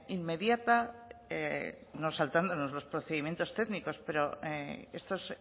inmediata no saltándonos los procedimiento técnicos pero estos